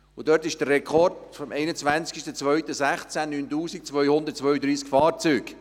Der Rekord vom 21. Februar 2016 beläuft sich auf 9232 Fahrzeuge!